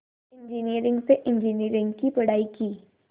engineering से engineering की पढ़ाई की